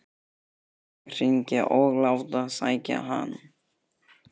Nú skal ég hringja og láta sækja hann.